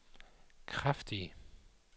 kraftige